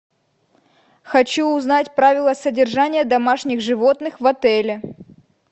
хочу узнать правила содержания домашних животных в отеле